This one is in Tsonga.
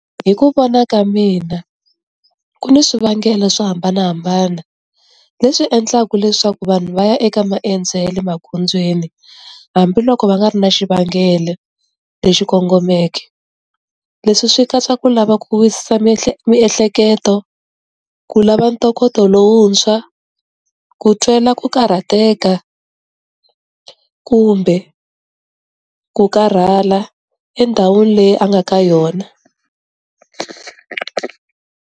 Hi ku vona ka mina ku ni swivangelo swo hambanahambana, leswi endlaka leswaku vanhu va ya eka maendzo ya le magondzweni. Hambiloko va nga ri na xivangelo, lexi kongomeke. Leswi swi katsa ku lava ku wisisa miehleketo, ku lava ntokoto lowuntshwa, ku twela ku karhateka, kumbe, ku karhala endhawini leyi a nga ka yona.